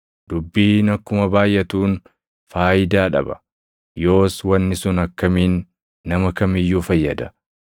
Dubbiin akkuma baayʼatuun faayidaa dhaba; yoos wanni sun akkamiin nama kam iyyuu fayyada?